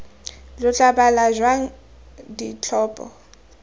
lo tla bala jang ditlhopho